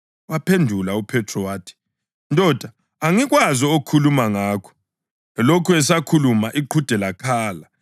Waphendula uPhethro wathi, “Ndoda, angikwazi okhuluma ngakho!” Elokhu esakhuluma, iqhude lakhala.